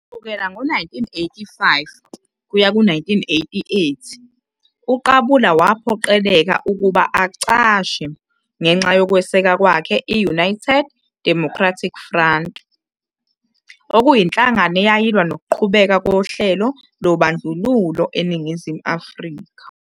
Kusukela ngo-1985 kuya ku-1988, uQabula waphoqeleka ukuba acashe ngenxa yokweseka kwakhe i- United Democratic Front, okuyinhlangano eyayilwa nokuqhubeka kohlelo lobandlululo eNingizimu Afrika.